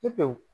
Pewu